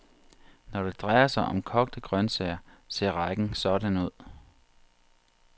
Når det drejer sig om kogte grønsager, ser rækken sådan ud.